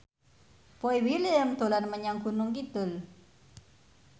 Boy William dolan menyang Gunung Kidul